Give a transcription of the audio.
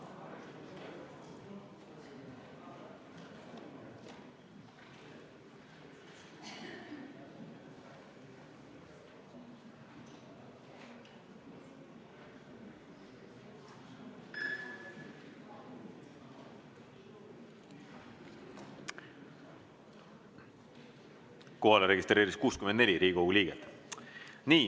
Kohalolijaks registreerus 64 Riigikogu liiget.